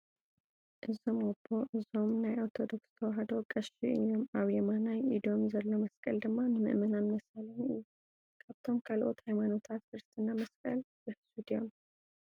እዞም ኣቦ እዞም ናይ ኦርቶዶክስ ተዋህዶ ቀሺ እዮም ኣብ የማናይ ኢዶምዘሎ መስቀል ድማ ንምእመናን መሳለሚ እዩ::ካብቶም ካልኦት ሃይማኖታት ክርስትና መስቀል ይሑዙ ድዮም ?